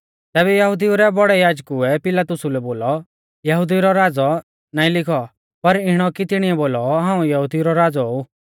तैबै यहुदिऊ रै बौड़ै याजकुऐ पिलातुसा लै बोलौ यहुदिऊ रौ राज़ौ नाईं लिखौ पर इणौ कि तिणीऐ बोलौ हाऊं यहुदिऊ रौ राज़ौ ऊ